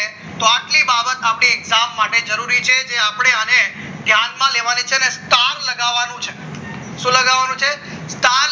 તો આટલી બાબત આપણે exam માટે જરૂર છે જે આપણે અને ધ્યાનમાં લેવાની છે અને તારા લગન છે શું લખવાનું છે તાર